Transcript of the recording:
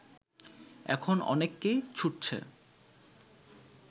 এখন অনেকেই ছুঁটছে